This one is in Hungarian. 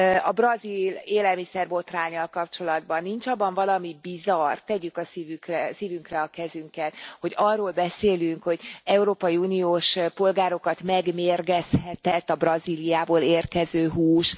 A brazil élelmiszerbotránnyal kapcsolatban nincs abban valami bizarr, tegyük a szívünkre a kezünket, hogy arról beszélünk, hogy európai uniós polgárokat megmérgezhetett a Brazíliából érkező hús?